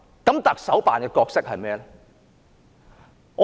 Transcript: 特首辦的角色是甚麼？